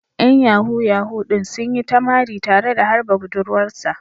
‘Yan Yahoo Yahoo din dai sun yi ta mari tare da harba budurwar sa.